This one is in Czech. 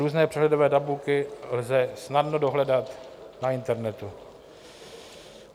Různé přehledové tabulky lze snadno dohledat na internetu.